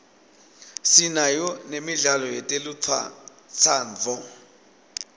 sinayo nemidlalo yetelutsandvo